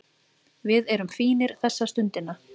Við erum fínir þessa stundina